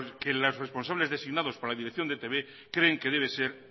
que los responsables designados por la dirección de etb creen que debe ser